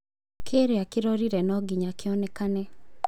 Kĩrĩa kĩrorire no nginya kĩonekane.